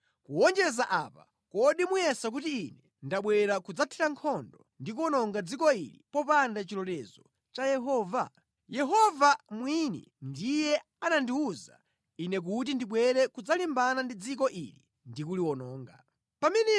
Kuwonjezera pamenepa, kodi ine ndabwera kudzathira nkhondo ndi kuwononga dziko lino popanda chilolezo cha Yehova? Yehova mwini ndiye anandiwuza kuti ndidzathire nkhondo ndi kuwononga dziko lino.”